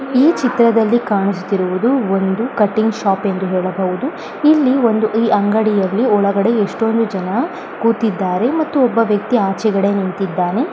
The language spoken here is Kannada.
ಈ ಚಿತ್ರದಲ್ಲಿ ಕಾಣಿಸುತ್ತಿರುವುದು ಒಂದು ಕಟಿಂಗ್ ಶಾಪ್ ಎಂದು ಹೆಳಬಹುದು ಇಲ್ಲಿ ಒಂದು ಈ ಅಂಗಡಿಯಲ್ಲಿ ಒಳಗಡೆ ಎಸ್ಟೊಂದು ಜನ ಕುತಿದ್ದಾರೆ ಮತ್ತು ಒಬ್ಬ ವ್ಯಕ್ತಿ ಆಚೆ ಕಡೆ ನಿಂತಿದ್ದಾನೆ .